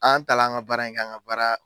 An taala an ka baara in kɛ an ka baara